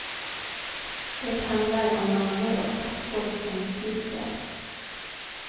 Det handlar om mammor och pappor som sviker.